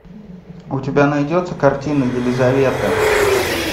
у тебя найдется картина елизавета